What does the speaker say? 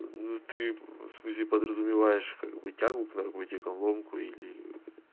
ну ты подразумеваешь как бы тягу к наркотикам ломку или